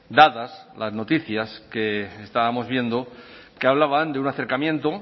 dadas las noticias que estábamos viendo que hablaban de un acercamiento